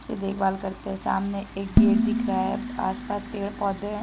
देख भाल करते हैं सामने एक गेट दिख रहा है आसपास पेड पौधे हैं।